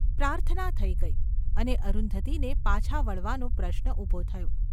પ્રાર્થના થઈ ગઈ અને અરુંધતીને પાછા વળવાનો પ્રશ્ન ઊભો થયો.